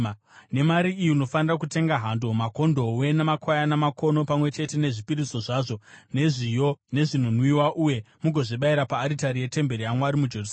Nemari iyi unofanira kutenga hando, makondobwe, namakwayana makono, pamwe chete nezvipiriso zvazvo zvezviyo nezvinonwiwa, uye mugozvibayira paaritari yetemberi yaMwari muJerusarema.